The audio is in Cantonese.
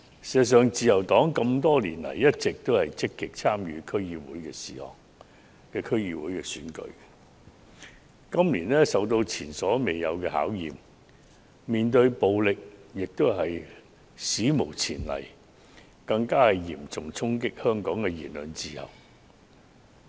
事實上，自由黨多年來一直積極參與區議會選舉，可是，今年竟遇到前所未有的考驗，所要面對的暴力亦是史無前例的，因其嚴重衝擊香港的言論自由。